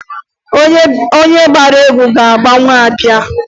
Onye gbara egwu ga-agbanwu abịa.